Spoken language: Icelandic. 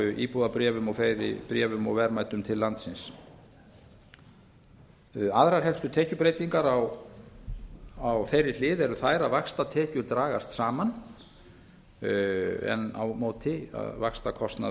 íbúðabréfum og fleiri bréfum og verðmætum til landsins aðrar helstu tekjubreytingar á þeirri hlið eru þær að vaxtatekjur dragast saman en á móti stórlækkar vaxtakostnaður